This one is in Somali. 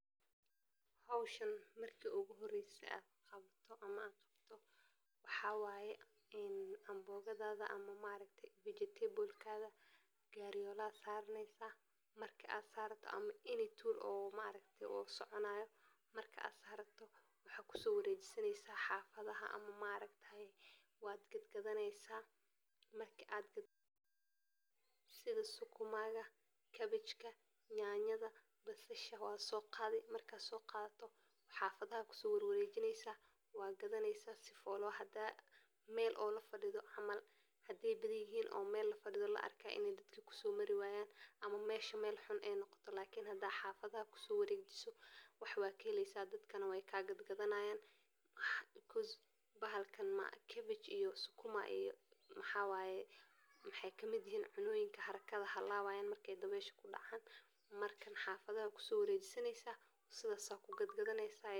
Howshan marki iigu horese aan arko ama aan qabto waxaa waaye amboogadaada ama vegetebalkaaga gaari yoola aad saaranee, iyagoo adeegsanaya gacmaha si fiican uun ama qalab sida mindiyo, mindi yar, iyo faaro, iyagoo ku shaqeeya aroor iyo galab si ay u gaaraan guul, iyagoo ka wada hadlaya cod jaban oo ay ku tukaanayaan heesaha dhaqameedka, iyagoo si taxadar leh u isku dayaya inaanay khudaartu dhaawacmin, iyagoo isku sharxaaya inay u qaybiyaan qoysaskooda, iyo inay qayb ka noqdaan ganacsiga suuqa, iyagoo ku dadaala inay koriyaan dhaqaalaha iyo nolosha qoysaskooda, iyagoo ka qayb qaata horumarinta beeraha iyo wax soo saarka khudaarta.